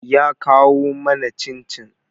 Ya kawo mana cin-cin.